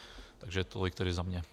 Takže tolik tedy za mě.